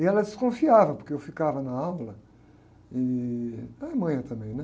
E ela desconfiava, porque eu ficava na aula, ih, era manha também, né?